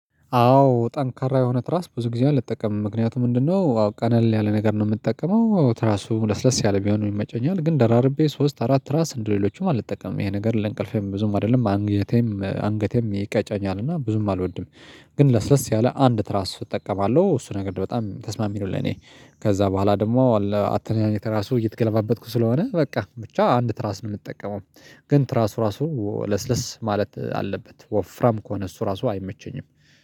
አዎ ጠንካራ የሆነ ትራስ ብዙ ጊዜ አልጠቀምም ምክንያቱም ምንድነው? አዎ ቀለል ያለ ነገር ነው የምጠቀመው ትራሱ ለስለስ ያለ ቢሆን ይመጨኛል ግን ደራርቤ ሶስት አራት ራስ እንደሌሎቹም አልጠቀምም ይሄ ነገር ለእንቅልፌም ብዙም አይደለም አንገቴም አንገቴም ይቀጨኛልና ብዙም አልወድም። ግን ለስለስ ያለ አንድ ትራስ እጠቀማለሁ እሱ ነገር በጣም ተስማሚ ነው ለኔ። ከዛ በኋላ ደግሞ ለአትኛኘት ራሱ እየተገለባበጥኩ ስለሆነ በቃ ብቻ አንድ ትራስ ነው ምጠቀመው። ግን ትራሱ ራሱ ለስለስ ማለት አለበት ወፍራም ከሆነ እሱ ራሱ አይመቸኝም።